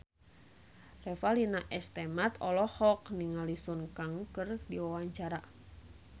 Revalina S. Temat olohok ningali Sun Kang keur diwawancara